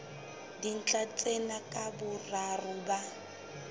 dintlha tsena ka boraro ba